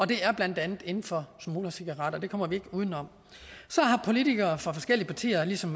det er blandt andet inden for smuglercigaretter og det kommer vi ikke uden om så har politikere fra forskellige partier ligesom